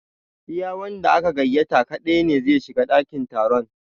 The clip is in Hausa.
Iya wanda aka gaiyata kaɗai ne zai shiga ɗakin taron